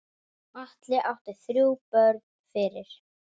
Atli átti þrjú börn fyrir.